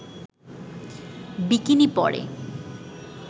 bikini পরে